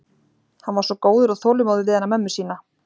Hann var svo góður og þolinmóður við hana mömmu sína.